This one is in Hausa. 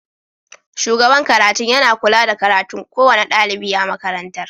Shugaban karatun yana kula da karatun kowane dalibi a makarantar.